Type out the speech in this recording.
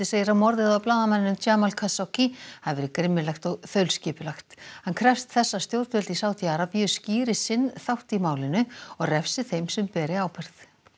segir að morðið á blaðamanninum Jamal Khashoggi hafi verið grimmilegt og þaulskipulagt hann krefst þess að stjórnvöld í Sádi Arabíu skýri sinn þátt í málinu og refsi þeim sem beri ábyrgð